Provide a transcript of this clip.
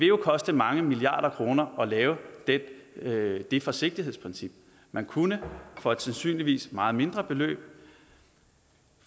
jo koste mange milliarder kroner at lave det lave det forsigtighedsprincip man kunne for et sandsynligvis meget mindre beløb